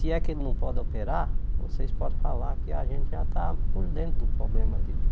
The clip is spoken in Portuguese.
Se é que ele não pode operar, vocês podem falar que a gente já está por dentro do problema dele.